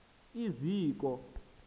iziko